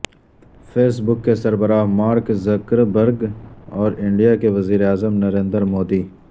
face بک کے سربراہ Mark Zuckerberg اور انڈیا کے وزیر اعظم نریندر مودی